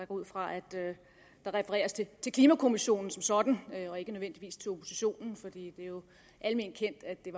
ud fra at der refereres til til klimakommissionen som sådan og ikke nødvendigvis til oppositionen for det er jo alment kendt at det